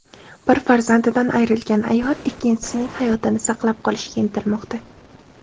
Bir farzandidan ayrilgan ayol ikkinchisining hayotini saqlab qolishga intilmoqda.